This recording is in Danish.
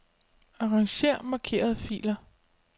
Arranger markerede filer.